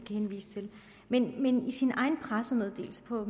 men men i sin egen pressemeddelelse på